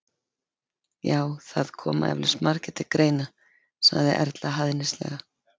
Já, það koma eflaust margir til greina- sagði Erla hæðnislega.